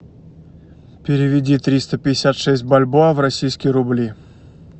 переведи триста пятьдесят шесть бальбоа в российские рубли